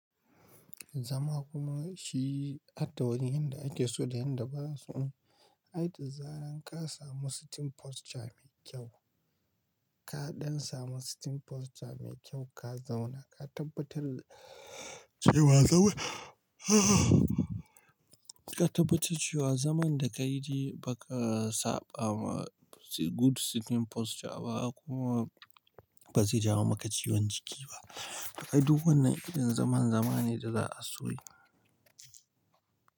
Zama kuma shi harda wani yanda ake so da yanda ba'a so. Ai da zaran ka samu sitting posture mai kyau. Ka don samu sitting posture mai kyau ka zauna ka tabbatar cewa ka tabbatar cewa zaman da ka yi dai ba ka saba ma good sitting posture ba kuma ba zai jawo maka ciwon jiki ba. Kai duk wannan irin zaman, zama ne da za a so yi.